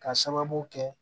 K'a sababu kɛ